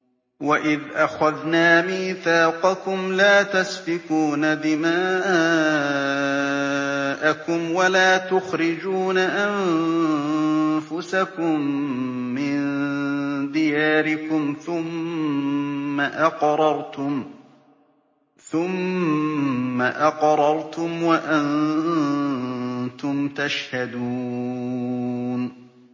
وَإِذْ أَخَذْنَا مِيثَاقَكُمْ لَا تَسْفِكُونَ دِمَاءَكُمْ وَلَا تُخْرِجُونَ أَنفُسَكُم مِّن دِيَارِكُمْ ثُمَّ أَقْرَرْتُمْ وَأَنتُمْ تَشْهَدُونَ